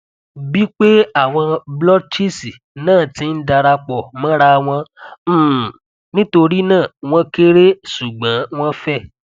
bipe awon blotches na ti n darapo morawon um nitorina won kere sugbon won fe